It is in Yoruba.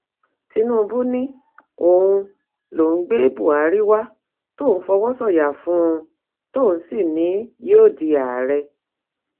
tinúbú ni òun lòun gbé buhari wá tóun fọwọ́ sọyà fún un tóun sì ní yóò di ààrẹ